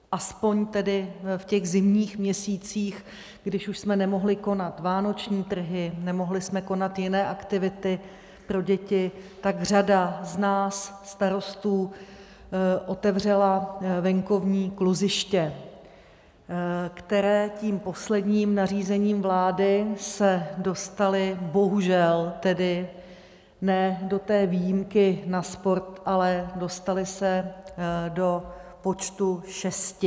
Aspoň tedy v těch zimních měsících, když už jsme nemohli konat vánoční trhy, nemohli jsme konat jiné aktivity pro děti, tak řada z nás starostů otevřela venkovní kluziště, která tím posledním nařízením vlády se dostala, bohužel tedy ne do té výjimky na sport, ale dostala se do počtu šesti.